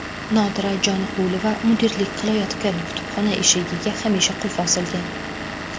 Nodira Joniqulova mudirlik qilayotgan kutubxona eshigiga hamisha qulf osilgan.